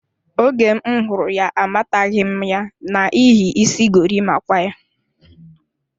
Oge m hụrụ ya, amataghi ya n'ihi isi gorimakwa ya.